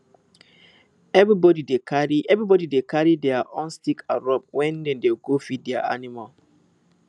everybody dey carry everybody dey carry their own stick and rope when dem dey go feed their animal